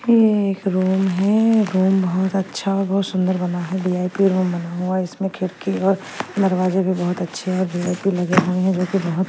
ये एक रूम है रूम बहुत अच्छा और बहुत सुंदर बना है वी_आई_पी रूम बना हुआ है इसमें खिड़की और दरवाजे भी बहुत अच्छे और वी_आई_पी लगे हुए हैं जो कि बहुत --